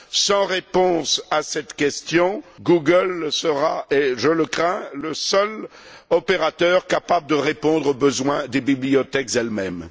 Sans réponse à cette question, Google sera je le crains le seul opérateur capable de répondre aux besoins des bibliothèques elles mêmes.